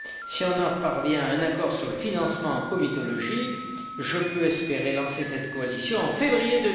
Si on parvient à un accord sur le financement en comitologie, je peux espérer lancer cette coalition en février